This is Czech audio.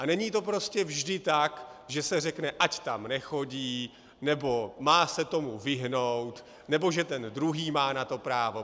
A není to prostě vždy tak, že se řekne: ať tam nechodí nebo má se tomu vyhnout nebo že ten druhý má na to právo.